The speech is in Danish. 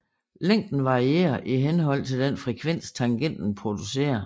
Længden varierer i henhold til den frekvens tangenten producerer